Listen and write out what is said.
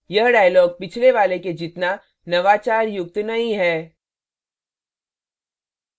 यह dialog पिछले वाले के जितना नवाचारयुक्त नहीं है